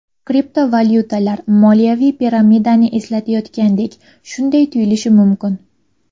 Kriptovalyutalar moliyaviy piramidani eslatayotgandek Shunday tuyulishi mumkin.